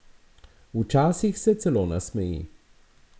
Včasih se celo nasmeji.